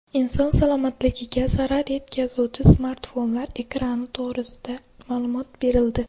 Inson salomatligiga zarar yetkazuvchi smartfonlar ekrani to‘g‘risida ma’lumot berildi.